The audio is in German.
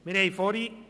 Weshalb dies?